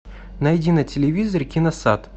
найди на телевизоре киносад